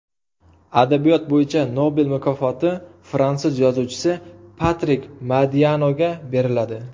Adabiyot bo‘yicha Nobel mukofoti fransuz yozuvchisi Patrik Modianoga beriladi.